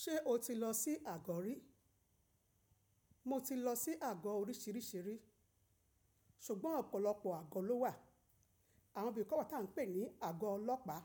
Ṣé o ti lọ sí àgọ́ rí? Mo ti lọ sí àgọ́ oríṣìíríṣìí, ṣùgbọ́n ọ̀pọ̀lọpọ̀ àgọ́ ló wà. Àwọn bí i kọ̀ bá tá ń pè ní àgọ́ ọlọ́pàá,